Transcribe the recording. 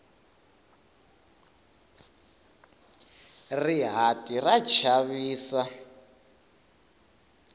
rihati ra chavisa